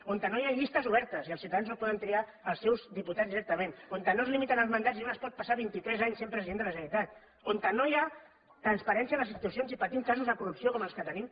on no hi ha llistes obertes i els ciutadans no poden triar els seus diputats directament on no es limiten els mandats i un es pot passar vint i tres anys sent president de la generalitat on no hi ha transparència a les institucions i patim casos de corrupció com els que tenim